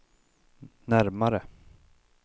närmare